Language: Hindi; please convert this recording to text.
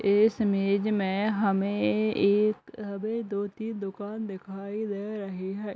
इस इमेज में हमें एक हमें दो-तीन दुकान दिखाई दे रही है |